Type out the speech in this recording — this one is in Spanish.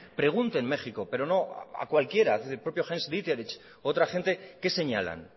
pregunte en méjico pero no a cualquiera el propio u otro agente qué señalan